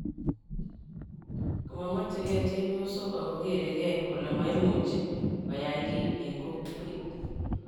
komamachegei chepyosok ago geregeei kole maimuchi koyey giiy eng kokwet